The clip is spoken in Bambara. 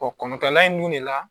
kɔngɔkalan in dun de la